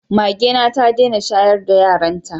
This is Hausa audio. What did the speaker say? Magena ta dena shayar da yaran ta